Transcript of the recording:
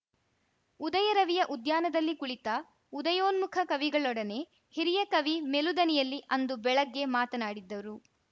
ಉದಯರವಿಯ ಉದ್ಯಾನದಲ್ಲಿ ಕುಳಿತ ಉದಯೋನ್ಮುಖ ಕವಿಗಳೊಡನೆ ಹಿರಿಯ ಕವಿ ಮೆಲುದನಿಯಲ್ಲಿ ಅಂದು ಬೆಳಗ್ಗೆ ಮಾತನಾಡಿದ್ದರು